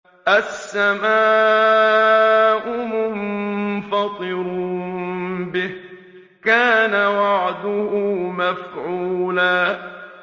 السَّمَاءُ مُنفَطِرٌ بِهِ ۚ كَانَ وَعْدُهُ مَفْعُولًا